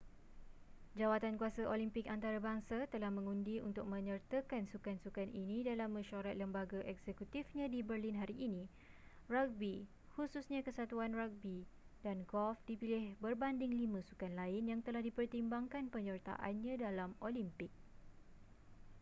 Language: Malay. jawatankuasa olimpik antarabangsa telah mengundi untuk menyertakan sukan-sukan ini dalam mesyuarat lembaga eksekutifnya di berlin hari ini ragbi khususnya kesatuan ragbi dan golf dipilih berbanding lima sukan lain yang telah dipertimbangkan penyertaannya dalam olimpik